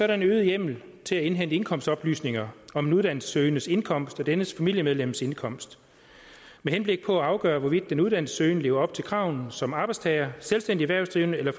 der en øget hjemmel til at indhente indkomstoplysninger om en uddannelsessøgendes indkomst og dennes familiemedlems indkomst med henblik på at afgøre hvorvidt den uddannelsessøgende lever op til kravene som arbejdstager selvstændig erhvervsdrivende eller